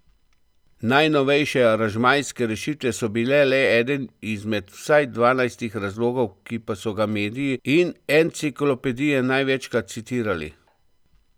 Najnovejše aranžmajske rešitve so bile le eden izmed vsaj dvanajstih razlogov, ki pa so ga mediji in enciklopedije največkrat citirali.